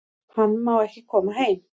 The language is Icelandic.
Hann má ekki koma heim